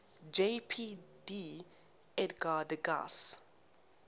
jpg edgar degas